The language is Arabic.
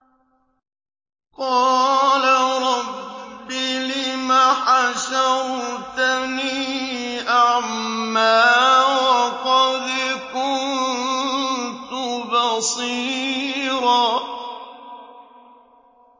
قَالَ رَبِّ لِمَ حَشَرْتَنِي أَعْمَىٰ وَقَدْ كُنتُ بَصِيرًا